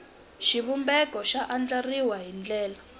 xivumbeko xi andlariwile hi ndlela